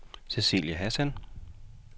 Cecilie Hassan